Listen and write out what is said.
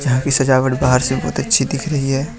यहां की सजावट बाहर से बहुत अच्छी दिख रही है।